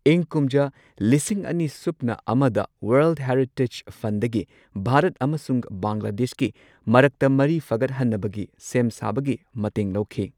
ꯏꯪ ꯀꯨꯝꯖꯥ ꯂꯤꯁꯤꯡ ꯑꯅꯤ ꯁꯨꯞꯅ ꯑꯃꯗ ꯋꯥꯔꯜꯗ ꯍꯦꯔꯤꯇꯦꯖ ꯐꯟꯗꯒꯤ ꯚꯥꯔꯠ ꯑꯃꯁꯨꯡ ꯕꯪꯒ꯭ꯂꯥꯗꯦꯁꯀꯤ ꯃꯔꯛꯇ ꯃꯔꯤ ꯐꯒꯠꯍꯟꯅꯕꯒꯤ ꯁꯦꯝ ꯁꯥꯕꯒꯤ ꯃꯇꯦꯡ ꯂꯧꯈꯤ꯫